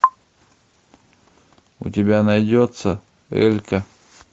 у тебя найдется элька